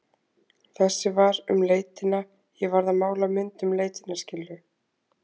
Þessi var um leitina, ég varð að mála mynd um leitina, skilurðu?